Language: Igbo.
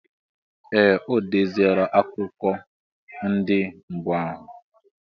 Ee! O deziela akụkọ ndị mbụ ahụ.